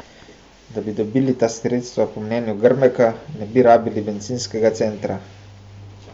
Da bi dobili ta sredstva, po mnenju Grmeka ne bi rabili bencinskega centa.